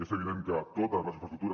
és evident que totes les infraestructures